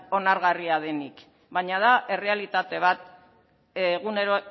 onargarria denik baina da errealitate bat egunero